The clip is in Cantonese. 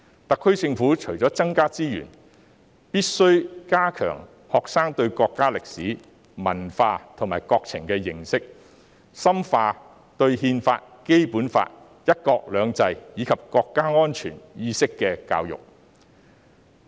特區政府除增加資源外，亦必須加強學生對國家歷史、文化及國情的認識，深化對憲法、《基本法》、"一國兩制"，以及國家安全意識的教育。